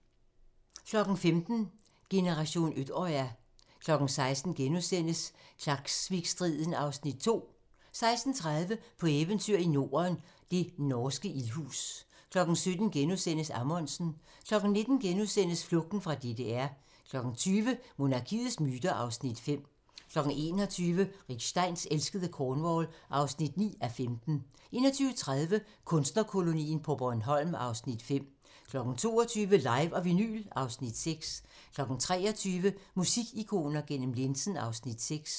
15:00: Generation Utøya 16:00: Klaksvikstriden (Afs. 2)* 16:30: På eventyr i Norden - det norske ildhus 17:00: Amundsen * 19:00: Flugten fra DDR * 20:00: Monarkiets myter (Afs. 5) 21:00: Rick Steins elskede Cornwall (9:15) 21:30: Kunstnerkolonien på Bornholm (Afs. 5) 22:00: Live & Vinyl (Afs. 6) 23:00: Musikikoner gennem linsen (Afs. 6)